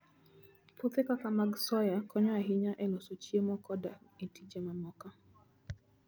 Puothe kaka mag soya konyo ahinya e loso chiemo koda e tije mamoko.